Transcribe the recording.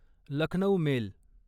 Lucknow mail